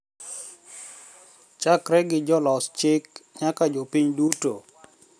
Chakre gi jolos chik nyaka jopiny duto,